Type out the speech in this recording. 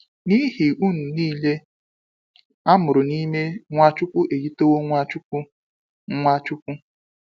N'ihi unu nille amụrụ n'ime Nwachukwu eyitewo Nwachukwu. Nwachukwu.